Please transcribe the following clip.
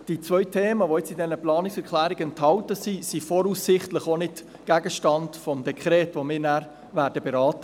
Die zwei Themen, die jetzt in den Planungserklärungen enthalten sind, sind voraussichtlich auch nicht Gegenstand des Dekrets, das wir im Juni beraten werden.